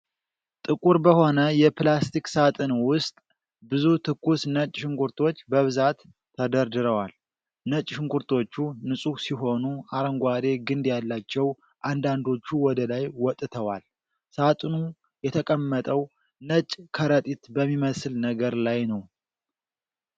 ጥቁር በሆነ የፕላስቲክ ሣጥን ውስጥ ብዙ ትኩስ ነጭ ሽንኩርቶች በብዛት ተደርድረዋል። ነጭ ሽንኩርቶቹ ንጹህ ሲሆኑ፣ አረንጓዴ ግንድ ያላቸው አንዳንዶቹ ወደ ላይ ወጥተዋል። ሣጥኑ የተቀመጠው ነጭ ከረጢት በሚመስል ነገር ላይ ነው።